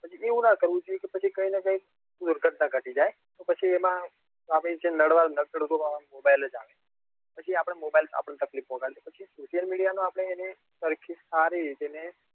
પછી એવું નાં કરવું નાં જોઈએ કે પછી કઈક ને કઈક દુર્ઘટના ઘટી જાય કે પછી નડવા નાડાગત તો આવે તે mobile આવે પછી આપણને mobile આપણને તકલીફ પોચાડે પછી social media પરિસ્થિતિ સારી હતી ને